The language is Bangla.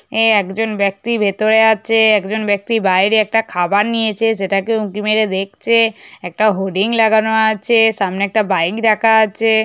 এঁ একজন ব্যাক্তি ভিতোরে আছে একজন ব্যাক্তি বাইরে একটা খাবার নিয়েয়েছে সেটাকে উকি মেরে দেখছে একটা হোরডিং লাগানো আছে সামনে একটা বাইনক রাখা আছে --